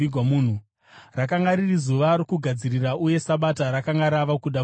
Rakanga riri zuva rokugadzirira, uye Sabata rakanga rava kuda kutanga.